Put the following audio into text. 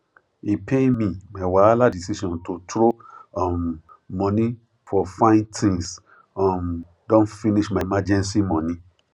e pain me my wahala decision to throw um money for fine things um don finish my emergency money